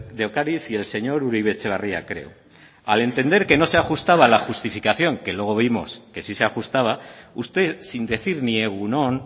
de ocariz y el señor uribe etxebarria creo al entender que no se ajustaba a la justificación que luego vimos que sí se ajustaba usted sin decir ni egun on